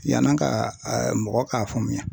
Yani an ka mɔgɔ ka faamuya.